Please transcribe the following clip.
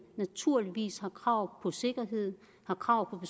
naturligvis har krav på sikkerhed og krav